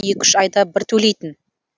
екі үш айда бір төлейтін